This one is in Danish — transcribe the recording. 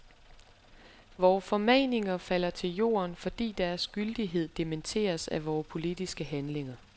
Vore formaninger falder til jorden, fordi deres gyldighed dementeres af vore politiske handlinger.